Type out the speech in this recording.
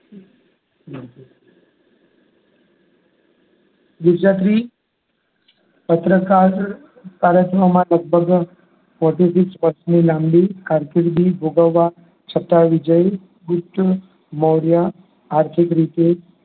પત્રકાર લગભગ forty six વર્ષની લાંબી કારકિર્દી ભોગવવા છતાં વિજયીગુપ્ત મૌર્યા આર્થિક રીતે